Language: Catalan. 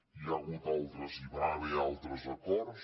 hi ha hagut altres hi va haver altres acords